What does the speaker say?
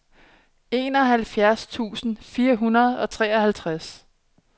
enoghalvfjerds tusind fire hundrede og treoghalvtreds